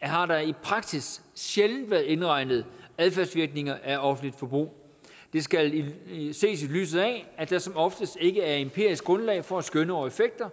har der i praksis sjældent været indregnet adfærdsvirkninger af offentligt forbrug det skal ses i lyset af at der som oftest ikke er empirisk grundlag for at skønne over effekter